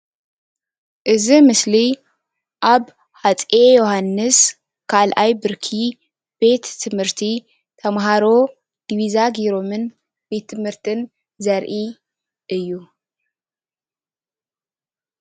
እዚ ምስሊ ኣብ ሃፀይ ዮውሃንስ 2ይ ብርኪ ቤት ትምህርቲ ተማሃሮ ዲቢዛ ጌይሮምን ቤት ትምህርትን ዘርኢ እዩ፡፡